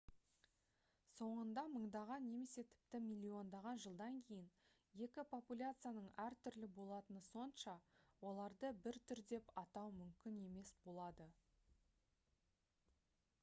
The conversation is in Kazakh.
соңында мыңдаған немесе тіпті миллиондаған жылдан кейін екі популяцияның әртүрлі болатыны сонша оларды бір түр деп атау мүмкін емес болады